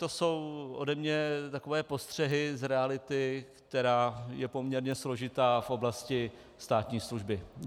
To jsou ode mě takové postřehy z reality, která je poměrně složitá v oblasti státní služby.